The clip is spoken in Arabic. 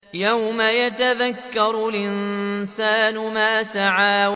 يَوْمَ يَتَذَكَّرُ الْإِنسَانُ مَا سَعَىٰ